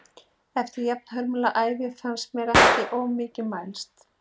Eftir jafnhörmulega ævi fannst mér það ekki til of mikils mælst.